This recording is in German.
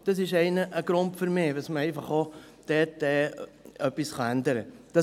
Das ist für mich ein Grund: weil man dort einfach etwas ändern kann.